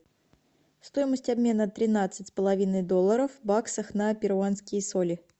стоимость обмена тринадцать с половиной долларов в баксах на перуанские соли